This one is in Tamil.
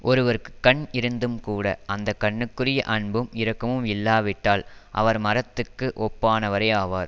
ஒருவர்க்குக் கண் இருந்தும்கூட அந்த கண்ணுக்குரிய அன்பும் இரக்கமும் இல்லாவிட்டால் அவர் மரத்துக்கு ஒப்பானவரே ஆவார்